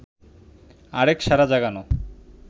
আরেক সাড়া জাগানো